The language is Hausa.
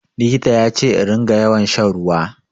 Likita ya ce in ringa yawan shan ruwa.